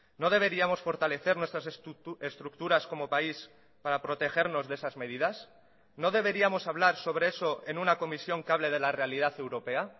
no deberíamos fortalecer nuestras estructuras como país para protegernos de esas medidas no deberíamos hablar sobre eso en una comisión que hable de la realidad europea